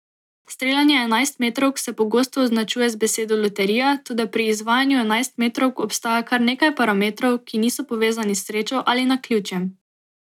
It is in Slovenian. Streljanje enajstmetrovk se pogosto označuje z besedo loterija, toda pri izvajanju enajstmetrovk obstaja kar nekaj parametrov, ki niso povezani s srečo ali naključjem.